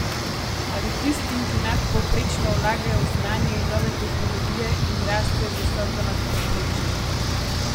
Ali tistim, ki nadpovprečno vlagajo v znanje in nove tehnologije in rastejo visoko nad povprečjem?